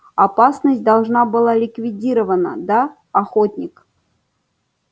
опасность должна быть ликвидирована да охотник